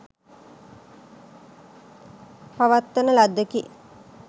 පවත්වන ලද්දකි.